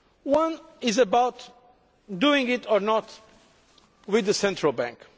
One was about doing this or not with the Central Bank.